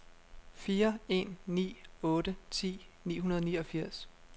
fire en ni otte ti ni hundrede og niogfirs